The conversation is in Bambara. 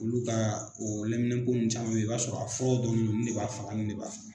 Olu ka o lɛminɛnpo ninnu caman bɛ ye i b'a sɔrɔ a furaw dɔnnen do nin ne b'a faga nin ne b'a faga.